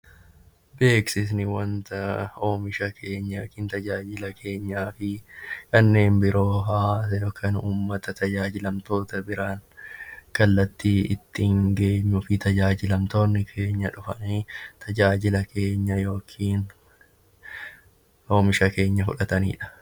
Beeksifni wanta tajaajila yookiin oomisha keenyaa fi kanneen biroo uummata tajaajilamtoota bira kallattii ittiin geenyuu fi maamiltoonni keenya dhufanii tajaajila keenya fudhatanidha.